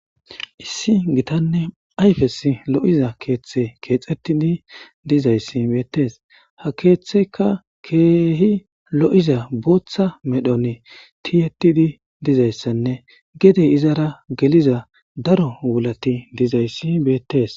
Issi gitanne ayfes lo'iza keeththe keexettidi dizayssi beettes ha keeththeyka keehi lo'iza booththa medhon tiyettidi dizayssanne gedey izara geliza daro wulati dizayssi beettes.